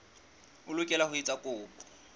o lokela ho etsa kopo